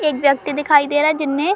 एक व्यक्ति दिखाई दे रहा है जिन्हे --